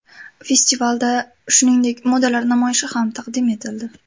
Festivalda, shuningdek, modalar namoyishi ham taqdim etildi.